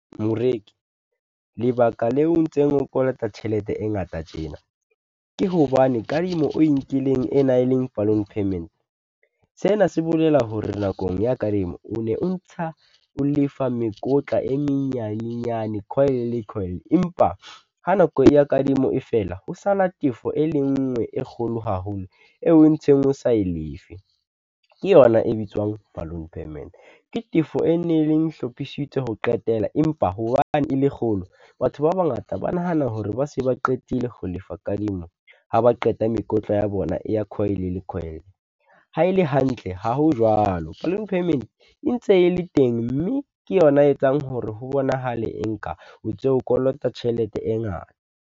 Moreki, lebaka leo o ntseng o kolota tjhelete e ngata tjena, ke hobane kadimo o e nkileng e nang leng balloon payment. Sena se bolela hore nakong ya kadimo, o ne o ntsha o lefa mekotla e menyanenyane , empa ha nako ya kadimo e fela, ho sala tefo e le nngwe e kgolo haholo eo o ntseng o sa e lefe. Ke yona e bitswang balloon payment, ke tefo e neng hlophisitswe ho qetela, empa hobane e le kgolo, batho ba bangata ba nahana hore ba se ba qetile ho lefa kadimo ha ba qeta mekotla ya bona e ya . Ha e le hantle, ha ho jwalo, balloon payment e ntse e le teng, mme ke yona e etsang hore ho bonahale e nka o ntso o kolota tjhelete e ngata.